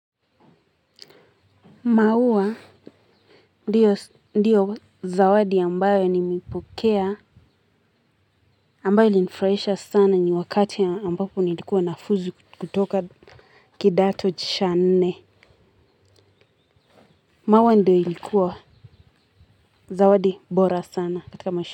Maua ndiyo zawadi ambayo nimeipokea ambayo ilinifurahisha sana ni wakati ambapo nilikuwa nafuzu kutoka kidato cha nne maua ndiyo ilikuwa zawadi bora sana katika maisha.